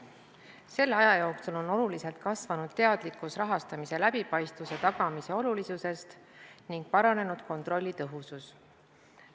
Selle aja jooksul on oluliselt kasvanud teadlikkus rahastamise läbipaistvuse tagamise olulisusest ning paranenud kontrolli tõhusus.